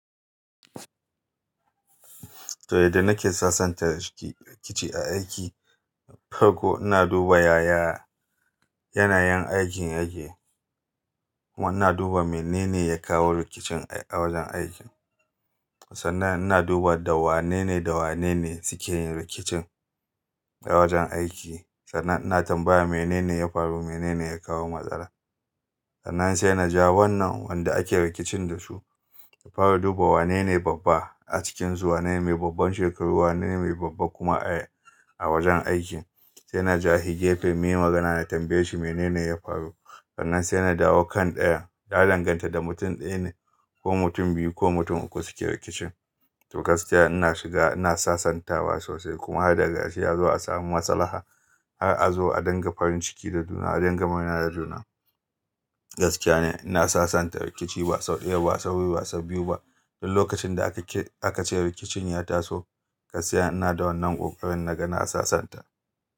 To, yadda nake sassanta rikici a aiki, farko ina duba yaya yanayin aikin yake. Kuma ina duba menene ya kawo rikicin a wajen aikin. Sannan ina duba da wanene da wanene suke yin rikicin a wajen aiki. Sannan ina tambaya menene ya faru, menene ya kawo matsala. Sannan sai na ja wannan wanda ake rikicin da su, na fara duba wanene babba a cikinsu, wanene mai babban shekaru, wanene mai babba kuma ay a wajen aikin. Sai na ja hi gefe muyi magana na tambaye shi menene ya faru. Sannan sai na dawo kan ɗaya, ya danganta da mutum ɗaya ne ko mutum biyu ko mutum uku suke rikicin. To gaskiya ina shiga ina sassantawa sosai kuma har daga karshe azo a samu maslaha har a zo a dinga farin ciki da juna, a dinga magana da juna. Gaskiya ne ina sassanta rikici ba sau ɗaya ba, sau biyu ba sau biyu ba. Don lokacin da aka ce rikicin ya taso, gaskiya ina da wannan kokarin naga na sassanta.